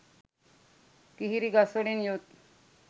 කිහිරි ගස්වලින් යුත්